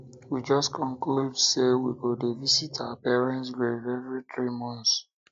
we just conclude say we go dey visit our parent grave every three months